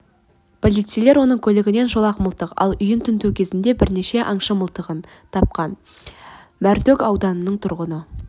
полицейлер оның көлігінен шолақ мылтық ал үйін тінту кезінде бірнеше аңшы мылтығын тапқан мәртөк ауданының тұрғыны